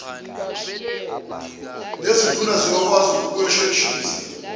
nezinduna siyokwazi ukuwusheshisa